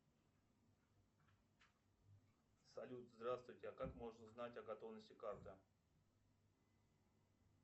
салют здравствуйте а как можно узнать о готовности карты